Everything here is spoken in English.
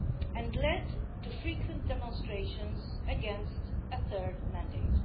and led to frequent demonstrations against a third mandate.